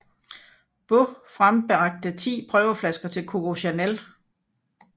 Beaux frembragte ti prøveflasker til Coco Chanel